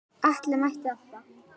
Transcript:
Atli mætti alltaf.